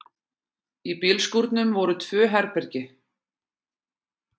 Í bílskúrnum voru tvö herbergi.